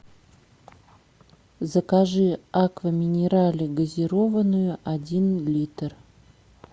закажи аква минерале газированную один литр